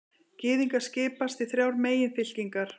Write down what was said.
Gyðingar skipast í þrjár meginfylkingar.